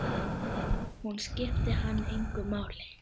Hún skipti hann engu máli.